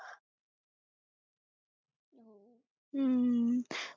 हम्म